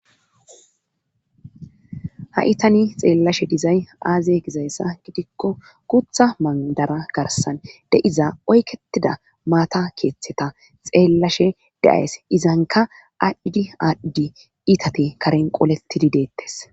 Ha7itani xeellashe dizay aazye gizayssa gidikko gutha mandara garsan de7iza oyketida maata keeththeta xeellashe deayes izanka aacidi aadhdi itati karen qolettidi deettes